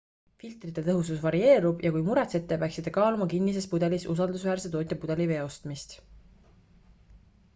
filtrite tõhusus varieerub ja kui muretsete peaksite kaaluma kinnises pudelis usaldusväärse tootja pudelivee ostmist